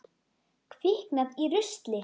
Kviknað í rusli?